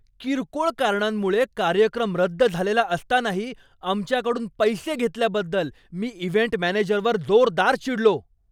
किरकोळ कारणांमुळे कार्यक्रम रद्द झालेला असतानाही आमच्याकडून पैसे घेतल्याबद्दल मी इव्हेंट मॅनेजरवर जोरदार चिडलो.